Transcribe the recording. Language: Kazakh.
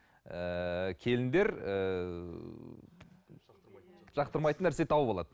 ііі келіндер ііі жақтырмайтын нәрсе тауып алады